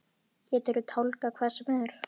Geturðu tálgað hvað sem er?